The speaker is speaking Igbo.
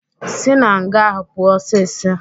Sị na nga ahụ pụọ osisi!